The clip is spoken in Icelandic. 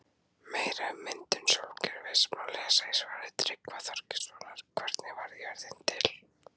Meira um myndun sólkerfisins má lesa í svari Tryggva Þorgeirssonar Hvernig varð jörðin til?